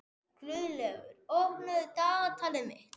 Guðlaugur, opnaðu dagatalið mitt.